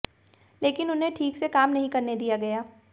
लेकिन उन्हें ठीक से काम नहीं करने दिया गया